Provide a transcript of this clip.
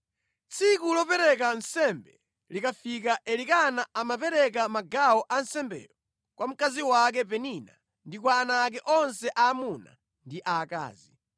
Tsiku lopereka nsembe likafika Elikana amapereka magawo a nsembeyo kwa mkazi wake Penina ndi kwa ana ake onse aamuna ndi aakazi.